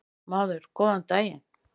Maður: Góðan daginn.